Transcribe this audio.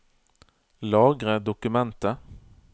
Lagre dokumentet